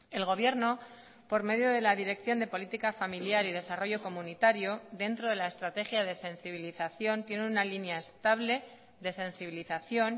el gobierno por medio de la dirección de política familiar y desarrollo comunitario dentro de la estrategia de sensibilización tiene una línea estable de sensibilización